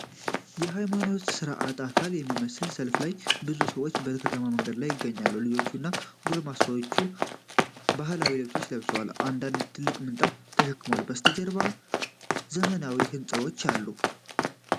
የሃይማኖታዊ ሥርዓት አካል በሚመስል ሰልፍ ላይ ብዙ ሰዎች በከተማ መንገድ ላይ ይገኛሉ። ልጆች እና ጎልማሶች ባህላዊ ልብሶችን ለብሰዋል፣ አንደኛው ትልቅ ምንጣፍ ተሸክሟል። ከበስተጀርባ ዘመናዊ ሕንፃዎች አሉ።